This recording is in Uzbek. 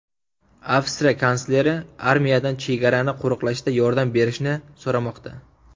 Avstriya kansleri armiyadan chegarani qo‘riqlashda yordam berishni so‘ramoqda.